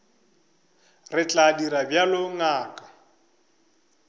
re tla dira bjalo ngaka